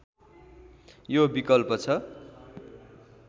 यो विकल्प छ